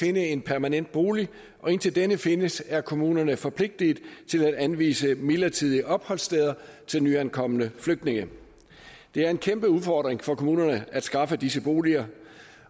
finde en permanent bolig og indtil denne findes er kommunerne forpligtet til at anvise midlertidige opholdssteder til nyankomne flygtninge det er en kæmpe udfordring for kommunerne at skaffe disse boliger